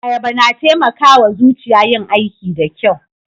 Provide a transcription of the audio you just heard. Ayaba na taimaka wa zuciya yin aiki da kyau